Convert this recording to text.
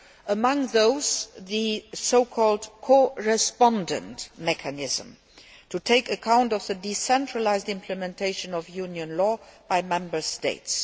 Among those is the so called co respondent mechanism' to take account of the decentralised implementation of Union law by Member States.